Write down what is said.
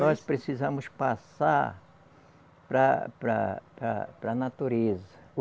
Nós precisamos passar para para para a natureza.